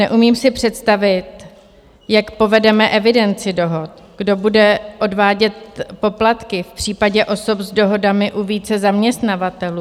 Neumím si představit, jak povedeme evidenci dohod, kdo bude odvádět poplatky v případě osob s dohodami u více zaměstnavatelů.